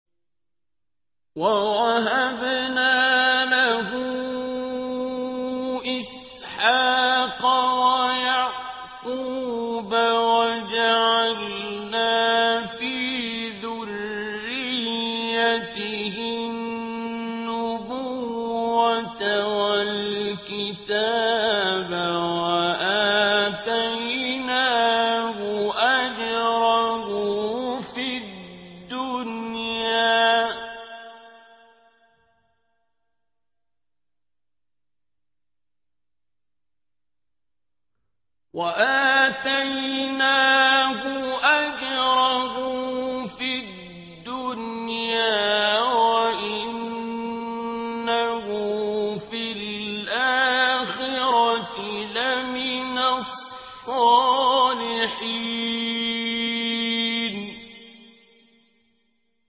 وَوَهَبْنَا لَهُ إِسْحَاقَ وَيَعْقُوبَ وَجَعَلْنَا فِي ذُرِّيَّتِهِ النُّبُوَّةَ وَالْكِتَابَ وَآتَيْنَاهُ أَجْرَهُ فِي الدُّنْيَا ۖ وَإِنَّهُ فِي الْآخِرَةِ لَمِنَ الصَّالِحِينَ